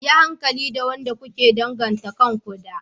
Yi hankali da wanda kuke danganta kanku da.